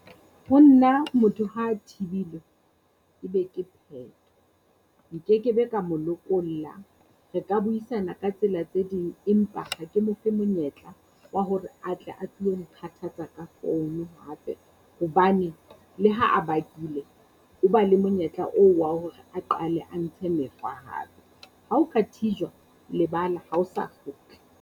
Ho nna motho ha thibilwe e be ke pheto. Nkekebe ka mo lokolla. Re ka buisana ka tsela tse ding, empa ha ke mo fe monyetla wa hore atle a tlilo nkgathatsa ka founu hape hobane, le ha a bakile o ba le monyetla oo wa hore a qale a ntshe mekgwa hape. Ha o ka thijwa lebala ha o sa kgutla.